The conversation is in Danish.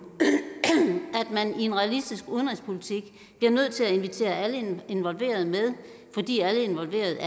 at man i en realistisk udenrigspolitik bliver nødt til at invitere alle involverede med fordi alle involverede jo